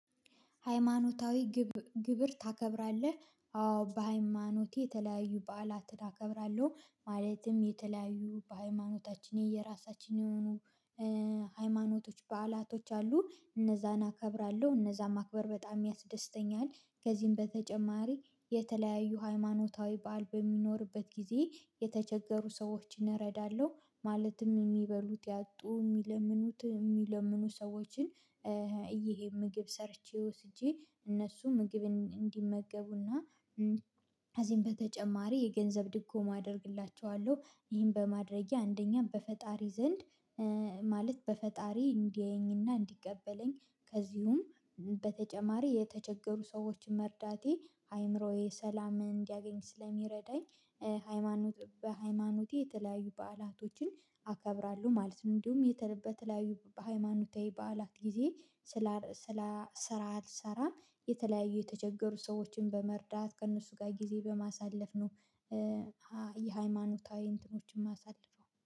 ሃይማኖታዊ ግብር ታከብራለህ? አዎ በሃይማኖቴ የተለያዩ በዓላትን አከብራለሁ። ማለትም የተለያዩ በሃይማኖታችን የየራሳችን የሆኑ ሃይማኖቶች በዓላቶች አሉ እነዛን አከብራለሁ እነዛን ማክበር በጣም ያስደስተኛል። ከዚህም በተጨማሪ የተለያዩ ሃይማኖታዊ በዓል በሚኖርበት ጊዜ የተቸገሩ ሰዎችን እረዳለሁ። ማለትም የሚበሉት ያጡ የሚለምኑት የሚለምኑ ሰዎችን እ ይሄ ምግብ ሰርቼ ወስጄ እነሱ ምግብን እንዲመገቡ እና ከዚህም በተጨማሪ የገንዘብ ድጎማ አደርግላቸዋለሁ። ይህን በማድረጌ አንደኛ በፈጣሪ ዘንድ ማለት በፈጣሪ እንዲያየኝ እና እንዲቀበለኝ ከዚሁም በተጨማሪ የተቸገሩ ሰዎችን መርዳቴ አይምሮዬ ሰላም እንዲያገኝ ስለሚረዳኝ። ሃይማኖት በሃይማኖቴ የተለያዩ በዓላቶችን አከብራለሁ ማለት ነው። እንዲሁም የተለበ በተለያዩ በሃይማኖታዊ በዓላት ጊዜ ስላ ስላ ስራ አልሰራም። የተለያዩ የተቸገሩ ሰዎችን በመርዳት ከእነሱ ጋር ጊዜ በማሳለፍ ነው። የሃይማኖታዊ እንትኖችን ማሳለፍ ነው